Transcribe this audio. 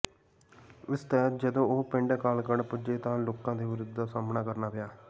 ਇਸ ਤਹਿਤ ਜਦੋਂ ਉਹ ਪਿੰਡ ਅਕਾਲਗੜ੍ਹ ਪੁੱਜੇ ਤਾਂ ਲੋਕਾਂ ਦੇ ਵਿਰੋਧ ਦਾ ਸਾਹਮਣਾ ਕਰਨਾ ਪਿਆ